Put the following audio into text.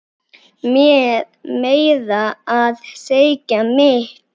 Meira að segja mitt